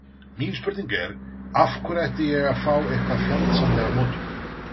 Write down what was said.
Mín spurning er, af hverju ætti ég að fá eitthvað fjandsamlegar móttökur?